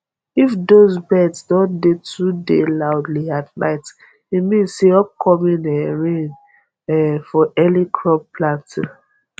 if those birds don dey too dey loudly at night e mean say upcoming um rain um for early crop planting